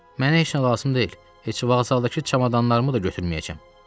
Mənə heç nə lazım deyil, heç vağzaldakı çamadanlarımı da götürməyəcəm.